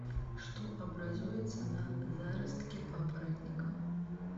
что образуется на заростке папоротника